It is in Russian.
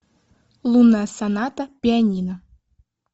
лунная соната пианино